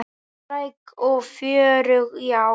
Spræk og fjörug, já.